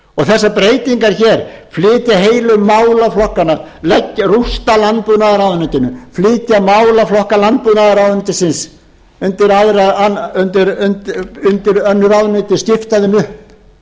þessar breytingar hér flytja heilu málaflokkana rústa landbúnaðarráðuneytinu flytja málaflokka landbúnaðarráðuneytisins undir önnur ráðuneyti skipta þeim upp flytja